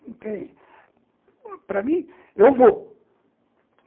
Não tem... Para mim, eu vou.